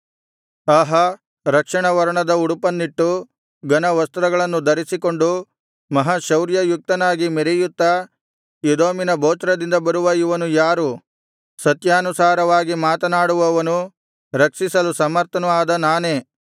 ಆಹಾ ರಕ್ತವರ್ಣದ ಉಡುಪನ್ನಿಟ್ಟು ಘನವಸ್ತ್ರಗಳನ್ನು ಧರಿಸಿಕೊಂಡು ಮಹಾಶೌರ್ಯಯುಕ್ತನಾಗಿ ಮೆರೆಯುತ್ತಾ ಎದೋಮಿನ ಬೊಚ್ರದಿಂದ ಬರುವ ಇವನು ಯಾರು ಸತ್ಯಾನುಸಾರವಾಗಿ ಮಾತನಾಡುವವನು ರಕ್ಷಿಸಲು ಸಮರ್ಥನು ಆದ ನಾನೇ